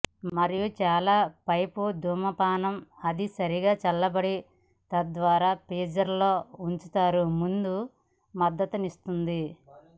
మరియు చాలా పైపు ధూమపానం అది సరిగా చల్లబడి తద్వారా ఫ్రీజర్ లో ఉంచారు ముందు మద్దతిస్తుంది